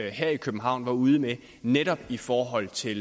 her i københavn var ude med netop i forhold til